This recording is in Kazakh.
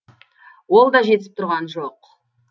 ол да жетісіп тұрған жоқ